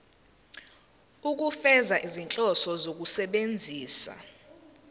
ukufeza izinhloso zokusebenzisa